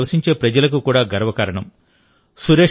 ఇది అక్కడ నివసించే ప్రజలకు కూడా గర్వకారణం